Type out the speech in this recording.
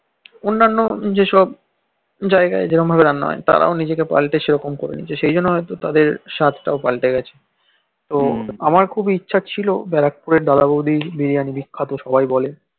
অন্যান্য যেসব জায়গায় যেরকম রান্না হয়ে তারাও নিজেকে পাল্টে সেরকম করনি সেজন্য তাদের স্বার্থ পাল্টে গেছে তো আমার খুব ইচ্ছা ছিল ব্যারাকপুরে দাদা বৌদি বিরিয়ানি বিখ্যাত সবাই বলে